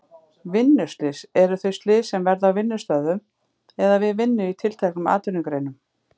Vinnuslys eru þau slys sem verða á vinnustöðvum eða við vinnu í tilteknum atvinnugreinum.